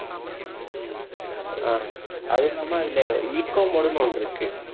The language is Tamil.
ஆஹ் அதுவும் இல்லாம அதுல mode ன்னு ஒண்ணு இருக்கு